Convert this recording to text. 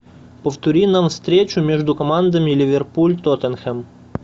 повтори нам встречу между командами ливерпуль тоттенхэм